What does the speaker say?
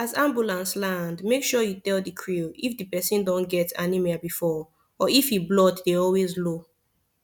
as ambulance land make sure you tell the crew if the person don get anaemia before or if e blood dey always low